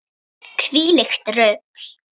Hvílíkt rugl!